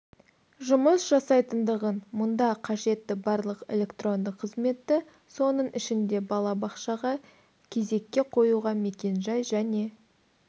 жұмыс жасайтындығын мұнда қажетті барлық электронды қызметті соның ішінде бала бақшаға кезекке қоюға мекенжай және